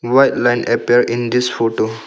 White line appear in this photo.